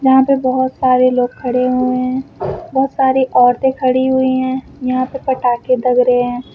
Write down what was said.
यहां पे बहुत सारे लोग खड़े हुए हैं। बहुत सारी औरतें खड़ी हुई हैं। यहां पे पटाखे लग रहे हैं।